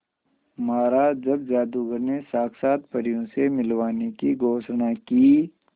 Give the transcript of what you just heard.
महाराज जब जादूगर ने साक्षात परियों से मिलवाने की घोषणा की